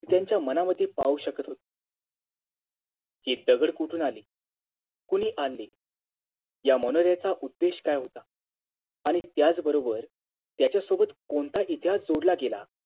त्यांच्या मनामध्ये पाहू शकत होते ते दगड कुठून आले? कुणी आणले? या मनोर्याचा उद्धिष्ट काय होता? आणि त्याच बरोबर त्याच्या सोबत कोणता इतिहास जोडला गेला